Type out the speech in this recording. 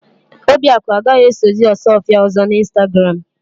Obiakụ agaghì esozi Ọsụọfịa ọ̀zọ́ n'Ịnstagram.